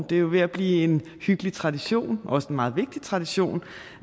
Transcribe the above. det er jo ved at blive en hyggelig tradition og også en meget vigtig tradition